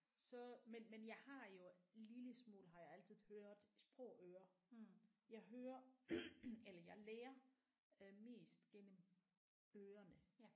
Så men men jeg har jo lille smule har jeg altid hørt sprogøre jeg hører eller jeg lærer mest gennem ørene